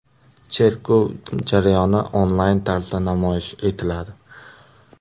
Cherkov jarayoni onlayn tarzda namoyish etiladi.